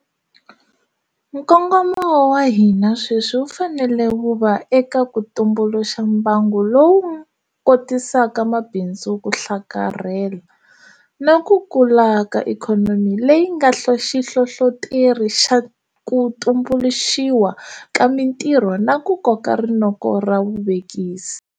Nkongomo wa hina sweswi wu fanele wu va eka ku tumbuluxa mbangu lowu kotisaka mabindzu ku hlakarhela, na ku kula ka ikhonomi leyi nga xihlohloteri xa ku tumbuluxiwa ka mitirho na ku koka rinoko ra vuvekisi.